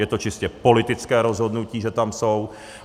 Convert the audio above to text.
Je to čistě politické rozhodnutí, že tam jsou.